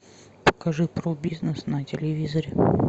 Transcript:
покажи про бизнес на телевизоре